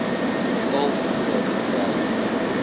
getal ure gewerk